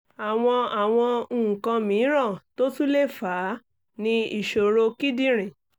àwọn àwọn nǹkan mìíràn tó tún lè fà á ni ìṣòro kíndìnrín